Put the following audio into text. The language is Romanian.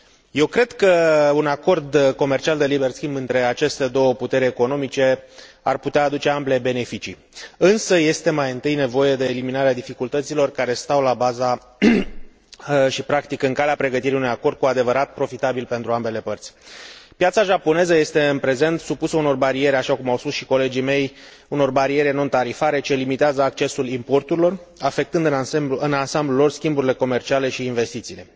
Eu cred că un Acord comercial de liber schimb între aceste două puteri economice ar putea aduce ambelor beneficii, însă este mai întâi nevoie de eliminarea dificultăților care stau la baza și, practic, în calea pregătirii unui acord cu adevărat profitabil pentru ambele părți. Piața japoneză este în prezent supusă unor bariere, așa cum au spus și colegii mei, unor bariere non tarifare ce limitează accesul importurilor, afectând în ansamblul lor schimburile comerciale și investițiile.